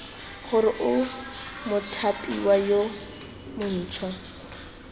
gore o mothapiwa yo montšhwa